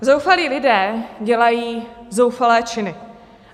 Zoufalí lidé dělají zoufalé činy.